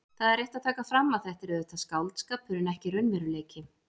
Það er rétt að taka fram að þetta er auðvitað skáldskapur en ekki raunveruleiki.